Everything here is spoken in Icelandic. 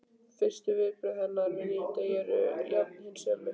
Fyrstu viðbrögð hennar við nýjum degi eru jafnan hin sömu.